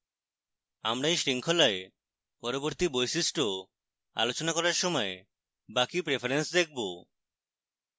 আমরা we শৃঙ্খলায় পরবর্তী বৈশিষ্ট্য আলোচনা করার সময় বাকি প্রেফারেন্স দেখবো